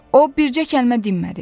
O bircə kəlmə dimədi.